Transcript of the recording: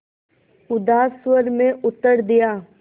उदास स्वर में उत्तर दिया